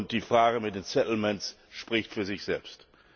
Die Frage mit den spricht zudem für sich selbst.